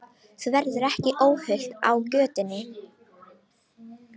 Þú verður ekki óhult á götunum.